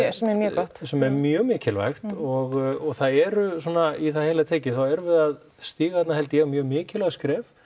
gott sem er mjög mikilvægt og það eru svona í það heila tekið þá erum við að stíga þarna held ég mjög mikilvæg skref